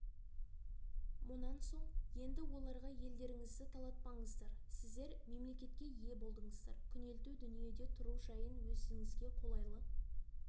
мұнан соң енді оларға елдеріңізді талатпаңыздар сіздер мемлекетке ие болыңыздар күнелту дүниеде тұру жайын өзіңізге қолайлы